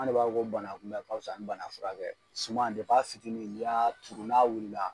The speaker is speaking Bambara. An de b'a fɔ ko banakunbɛn ka wusa ni banafurakɛ ye suman a fitiinin n'i y'a turu n'a wulila.